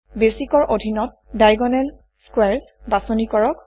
Basicৰ অধীনত diagonal squares বাছনি কৰক